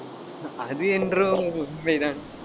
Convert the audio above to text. அது என்றும் உண்மைதான்.